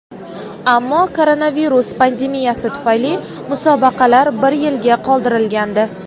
ammo koronavirus pandemiyasi tufayli musobaqalar bir yilga qoldirilgandi.